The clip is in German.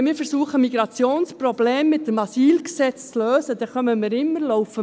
Wenn wir versuchen, Migrationsprobleme mit dem Asylgesetz zu lösen, dann laufen wir immer auf.